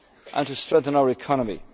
to recover and to strengthen our